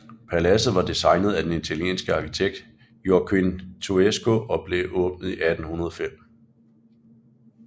Paladset var designet af den italienske arkitekt Joaquín Toesca og blev åbnet i 1805